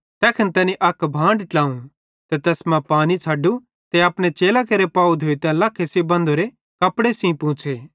तैखन तैनी अक भांड ट्लावं ते तैस मां पानी छ़ाडु ते अपने चेलां केरे पाव धोइतां लखे बन्धोरे तोलिये सेइं पोंछ़े